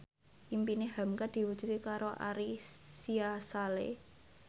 impine hamka diwujudke karo Ari Sihasale